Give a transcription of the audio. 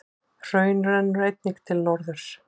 Hraun rennur einnig til norðurs.